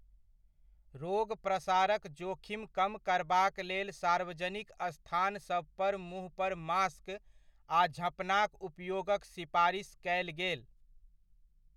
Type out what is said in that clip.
रोग प्रसारक जोखिम कम करबाक लेल सार्वजनिक स्थानसभ पर मुँहपर मास्क आ झँपनाक उपयोगक सिपारिस कयल गेल।